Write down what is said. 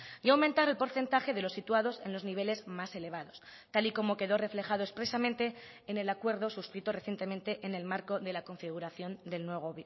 y aumentar el porcentaje de los situados en los niveles más elevados tal y como quedó reflejado expresamente en el acuerdo suscrito recientemente en el marco de la configuración del nuevo